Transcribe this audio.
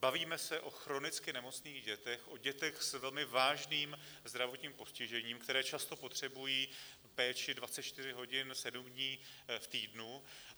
Bavíme se o chronicky nemocných dětech, o dětech s velmi vážným zdravotním postižením, které často potřebují péči 24 hodin, 7 dní v týdnu.